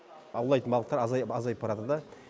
аулайтын балықтар азайып баратыр да